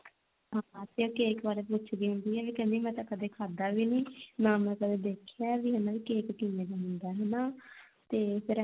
ਹਾਂ ਹਾਂ ਤੇ ਉਹ cake ਬਾਰੇ ਪੁੱਛਦੀ ਹੁੰਦੀ ਆ ਤੇ ਕਹਿੰਦੀ ਆ ਵੀ ਕਦੇ ਮੈਂ ਤਾਂ ਖਾਧਾ ਵੀ ਨਹੀਂ ਨਾ ਮੈਂ ਕਦੇ ਦੇਖਿਆ ਵੀ ਹਨਾ cake ਕਿਵੇਂ ਦਾ ਹੁੰਦਾ ਹਨਾ ਤੇ ਫਿਰ ਐਮੀ